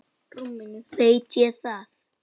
Veit ég það.